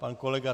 Pan kolega